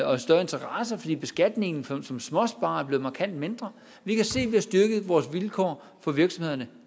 og en større interesse fordi beskatningen for småsparere er blevet markant mindre vi kan se at vi har styrket vores vilkår for virksomhederne